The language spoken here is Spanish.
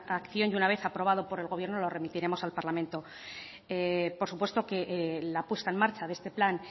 acción y una vez aprobado por el gobierno lo remitiremos al parlamento por supuesto que la puesta en marcha de este plan